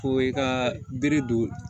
Ko i ka bere don